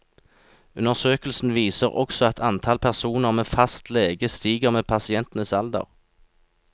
Undersøkelsen viser også at antall personer med fast lege stiger med pasientens alder.